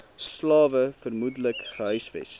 slawe vermoedelik gehuisves